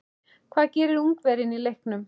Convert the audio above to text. Hvað gerir Ungverjinn í leiknum?